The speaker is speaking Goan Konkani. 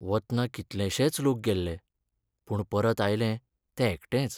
वतना कितलेशेंच लोक गेल्ले, पूण परत आयलें तें एकटेंच.